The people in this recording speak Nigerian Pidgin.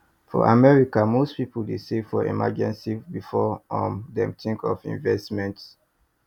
for america most people dey save for emergency before um dem think of investment